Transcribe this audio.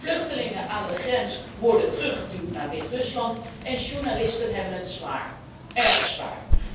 Vluchtelingen aan de grens worden teruggeduwd naar Wit Rusland en journalisten hebben het zwaar, erg zwaar.